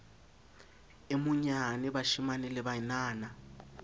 e monyane bashemane le banana